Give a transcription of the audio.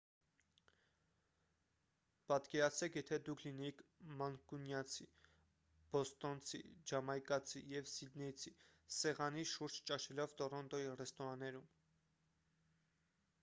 պատկերացրեք եթե դուք լինեիք մանկունյացի բոստոնցի ջամայկացի և սիդնեյցի սեղանի շուրջ ճաշելով տորոնտոյի ռեստորանում